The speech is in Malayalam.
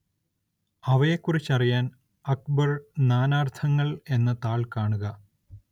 അവയെക്കുറിച്ചറിയാന്‍ അക്ബര്‍ നാനാര്‍ത്ഥങ്ങള്‍ എന്ന താള്‍ കാണുക